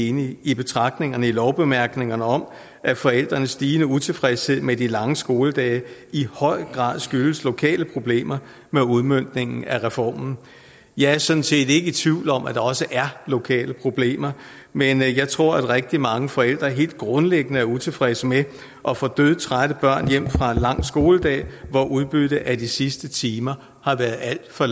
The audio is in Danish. enige i betragtningerne i lovbemærkningerne om at forældrenes stigende utilfredshed med de lange skoledage i høj grad skyldes lokale problemer med udmøntningen af reformen jeg er sådan set ikke i tvivl om at der også er lokale problemer men jeg tror at rigtig mange forældre helt grundlæggende er utilfredse med at få dødtrætte børn hjem fra en lang skoledag hvor udbyttet af de sidste timer har været alt for